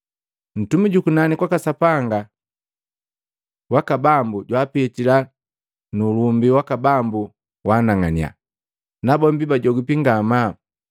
Ntumi jukunani kwaka Sapanga waka Bambu jwaapitila nu ulumbi waka Bambu waanang'annya, nabombi bajogipi ngamaa.